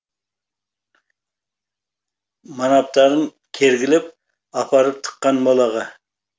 манаптарын кергілеп апарып тыққан молаға